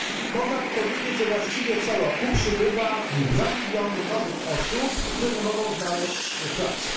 Można by powiedzieć, że właściwie co roku przybywa dwa miliony nowych osób, które nie mogą znaleźć pracy.